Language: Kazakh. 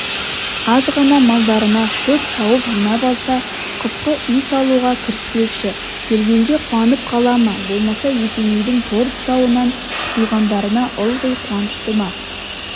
аз ғана малдарына шөп шауып жинап алса қысқы үй салуға кіріспекші келгенде қуанып қала ма болмаса есенейдің тор тұсауынан құтылғандарына ылғи қуанышты ма